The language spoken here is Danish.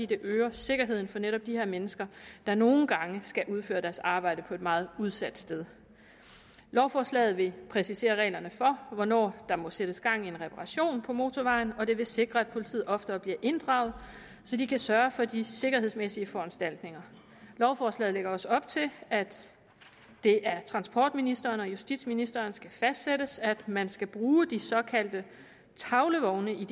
det øger sikkerheden for netop de her mennesker der nogle gange skal udføre deres arbejde på et meget udsat sted lovforslaget vil præcisere reglerne for hvornår der må sættes gang i en reparation på motorvejen og det vil sikre at politiet oftere bliver inddraget så de kan sørge for de sikkerhedsmæssige foranstaltninger lovforslaget lægger også op til at det af transportministeren og justitsministeren skal fastsættes at man skal bruge de såkaldte tavlevogne